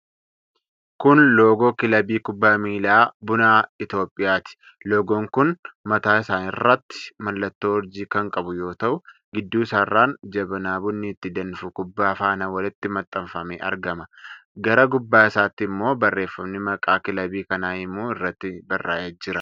Kun loogoo kilabii kubbaa miilaa Buna Itoophiyaati. Loogoon kun mataa isaarratti mallattoo urjii kan qabu yoo ta'u gidduu isaarraan jabanaa bunni itti danfu kubbaa faana walitti maxxanfamee argama. gara gubbaa isaatti ammoo barreefami maqaa kilabii kanaa himu irratti barraa'ee jira.